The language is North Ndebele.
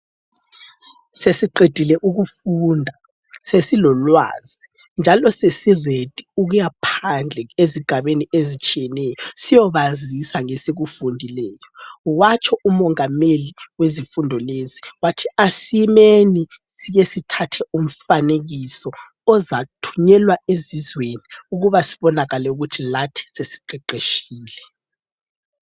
Sesiqedile ukufunda sesilolwazi njalo sesiredi ukuyaphandle ezigabeni eztshiyeneyo, siyobazisa ngesikufundileyo. Watsho umongameli wezifundo lezi, wathi, 'asemeni, sike sithathe umfanekiso ozathunyelwa ezizweni, ukuba sibonakale ukuthi lathi sesiqeqeshile.'